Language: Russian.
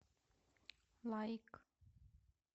лайк